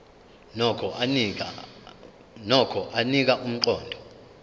nokho anika umqondo